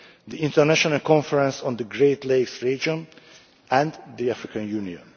the International Conference on the Great Lakes Region, and the African